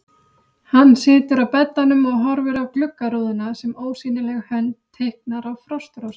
Hann situr á beddanum og horfir á gluggarúðuna sem ósýnileg hönd teiknar á frostrósir.